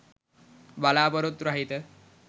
බලාපොරොත්තු රහිත